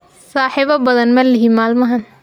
Saaxiibo badan ma lihi maalmahan